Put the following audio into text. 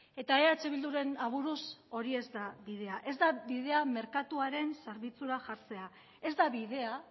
eta eh bilduren aburuz hori ez da bidea ez da bidea merkatuaren zerbitzura jartzea ez da bidea